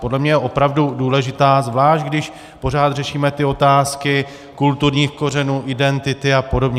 Podle mě je opravdu důležitá, zvlášť když pořád řešíme ty otázky kulturních kořenů, identity a podobně.